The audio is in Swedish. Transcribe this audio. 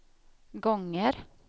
gånger